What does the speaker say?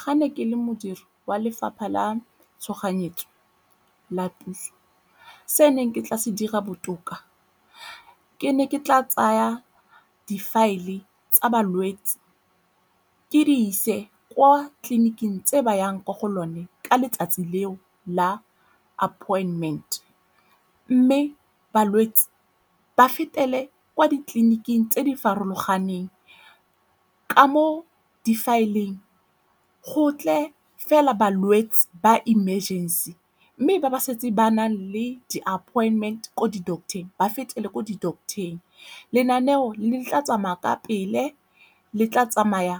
Ga ne ke le modiri wa lefapha la tshoganyetso la puso se neng ke tla se dira botoka, ke ne ke tla tsaya di-file tsa balwetse ke di ise kwa tleliniking tse ba yang mo go lone ka letsatsi leo la appointment. Mme balwetse ba fetele kwa ditleliniking tse di farologaneng, ka mo difaeleng go ntle fela balwetse ba emergency mme ba ba setse ba nang le di-appointment ko di-doctor ba fetele ko di-doctor-eng, lenaneo le tla tsamaya ka pele, le tla tsamaya